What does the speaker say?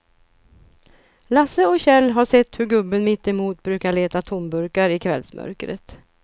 Lasse och Kjell har sett hur gubben mittemot brukar leta tomburkar i kvällsmörkret.